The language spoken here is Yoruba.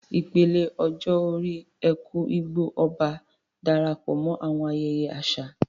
Ìpele ọjọ́ orí "Eku-Igbo-Oba" Darapọ̀ mọ́ àwọn ayẹyẹ àṣà